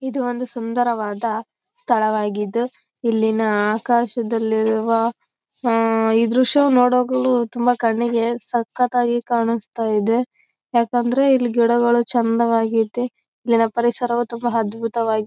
ನಮ್ಮೂರೆಲ್ಲಾ photographic ಅಂತ ಹೇಳಿ U S ಗೆ ಹೋಗ್ತೀವಿ.